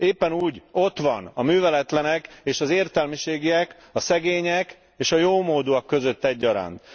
Éppen úgy ott van a műveletlenek és az értelmiségiek, a szegények és a jómódúak között egyaránt.